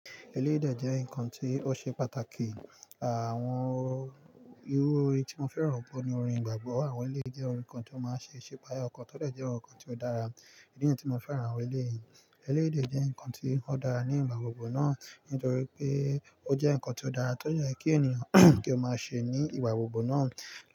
Eléyi dè jẹ́ ǹkan tí ó ṣe pàtàkì. Àwon irú orin tí mo fẹ́ràn jù ni orin ìgbàgbọ́ àwọn eléèdè jẹ́ ǹkan tí ó máa ń ṣe, ṣe páì ọkàn tódẹ̀ jẹ́ ǹkan tí ó dára. Ìdí nìyí tí mo fẹ́ran àwọn eléyi. Eléyi jẹ́ ǹkan tí ó dára ní ìgbà gbogbo náà nítorí pé ó jẹ́ ǹkan tí ó dára tó jẹ́ kí ènìyàn kí ó máa ṣe ní ìgbà gbogbo náà.